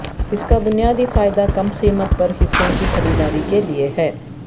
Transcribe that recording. اس کا بنیادی فائدہ کم قیمت پر حصوں کی خریداری کے لئے ہے